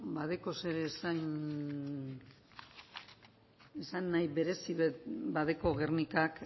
badeko zer esanahi berezi bat badeko gernikak